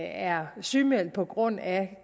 er sygemeldt på grund af